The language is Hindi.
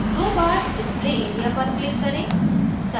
दो बार display area पर click करें